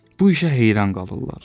Bu işə heyran qalırlar.